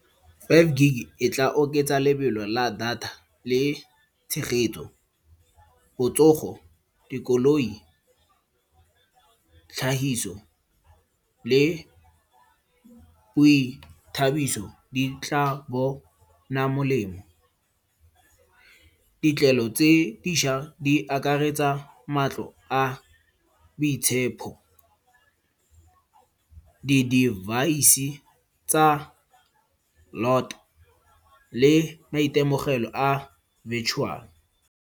Five gig-e tla oketsa lebelo la data le tshegetso. Botsogo, dikoloi, tlhagiso le boithabiso di tla bona molemo. Ditlelo tse dišwa di akaretsa matlo a boitshepo. Di-device-e tsa le maitemogelo a virtual.